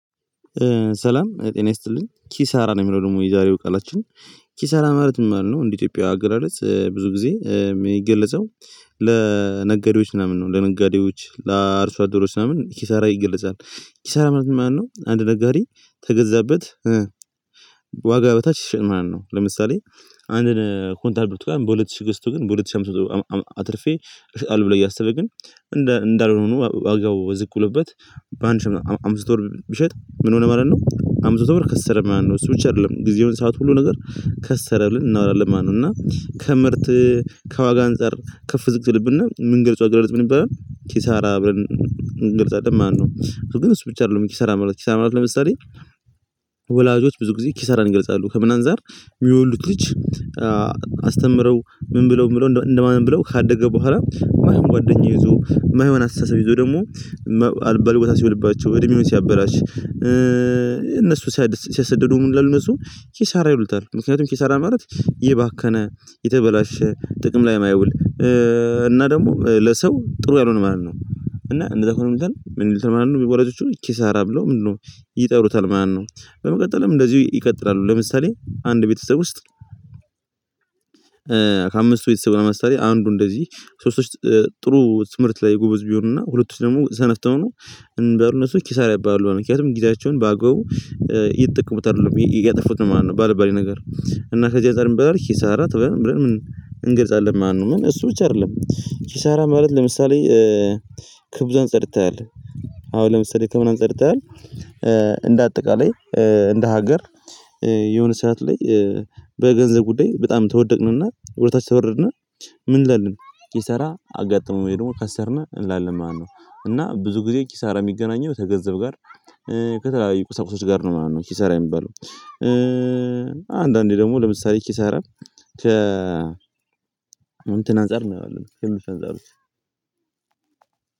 ሰላም ጤናዬ ስትልን ኪሳራ ነው የሚለው ደግሞ የዛሬው ቃላችን። ኪሳራ ማለትም አልነው እንደ ኢትዮጵያ አገላለጽ ብዙ ጊዜ የሚገልጸው ለነጋዴዎች ምናምን ነው ለነጋዴዎች ለአርሶ አደሮች ምናምን ኪሳራ ይገለጻል። ኪሳራ ማለት ነው አንድ ነጋዴ በገዛበት ዋጋ በታች ሺሸጥ ማለት ነው። ለምሳሌ አንድን ኮንታል ብርቱካን ጋር በሁለት ሺህ ገስቶ ግን በሁለት ሺህ አምስት መቶ አትርፌ አልብለው እያሰበ ግን እንደ እንዳልሆኑ ዋጋው ዝቅ ብሎበት። በአንድ ሺህ አምስት ወር ቢሸጥ ምን ሆነ ማለት ነው አምስት መቶ ብር ከሰረ ማለት ነው። እሱ ብቻ አይደለም ጊዜውን ሰዓት ሁሉ ነገር ከሰረ ብለን እናወራለን ማለት ነው። እና ከምርት ከዋጋ አንፃር ከፍ ዝግጅልብና ምን ገልጿ ገልጿ ምን ይባላል? ኪሳራ አብረን ገልጿልን ማነው ግን እሱ ብቻ አይደለም ኪሳራ መላክ ኪሳራ መላክ ለምሳሌ። ወላጆች ብዙ ጊዜ ኪሳራን ይገልጻሉ ከምን አንዛር የሚወልዱት ልጅ። አስተምረው ምን ብለው የምለው እንደማን ብለው ካደገ በኋላ ማህም ጓደኛ ይዞ ማይሆን አስተሳሰብ ይዞ ደግሞ አልባ ቦታ ሲሆንባቸው እድሜውን ሲያበራሽ። እነሱ ሲያሰድዱ ምን እንደሆነ እሱ ኪሳራ ይውልታል። ምክንያቱም ኪሳራ ማለት ይባከነ የተበላሸ ጥቅም ላይ የማየውል። እና ደግሞ ለሰው ጥሩ ያልሆነ ማለት ነው እና እንደዛ እኮ ነው። ምን ልትል ወላጆቹን ኪሳራ ብለው ምንድነው? ይጠሩታል ማነው? በመቀጠልም እንደዚሁ ይቀጥላሉ። ለምሳሌ አንድ ቤተሰብ ውስጥ። ከአምስቱ ቤተሰብ ለመስተር አንዱ እንደዚህ ሶስት ጥሩ ስምርት ላይ ጎበዝ ቢሆንና ሁለቱም ደግሞ ዘነተው ነው። እንደው እነሱ ኪሳራ ያባላሉ በምክንያቱም ጊዜያቸውን በአገው ይጠቅሙታል እያጠፉት ማለት ነው። ባለባሌ ነገር። እና ከዚህ አጠር ይበላል ኪሳራ ትበል ብለን ምን ማነው እሱ ብቻ አይደለም። ሲሰራ ማለት ለምሳሌ። ከብዙ አንጸድተሃል። አሁን ለምሳሌ ከምናምን ጸድተሃል። እንደ አጠቃላይ። እንደ ሀገር። የሆነ ሰዓት ላይ በገንዘብ ጉዳይ በጣም ተወደደ እና እውነታችን ተበርድና። ምን እንላለን? ይሰራ አጋጥሞ ወይ? ደግሞ ከሰርነህ እንላለን ማነው? እና ብዙ ጊዜ ኪሳራ የሚገናኘው ከገንዘብ ጋር። ከተለያዩ ቁሳቁሶች ጋር ነው ምናምን ነው ኪሳራ የሚባለው። አንዳንዴ ደግሞ ለምሳሌ ኪሳራ ከ እንትን አንፃር ነው የምንፈልገው።